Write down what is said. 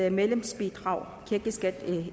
et medlemsbidrag kirkeskat